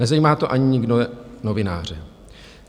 Nezajímá to někdy ani novináře.